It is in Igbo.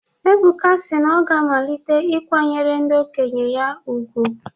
Ebuka si na ọ ga-amalite ikwanyere ndị okenye ya ùgwù.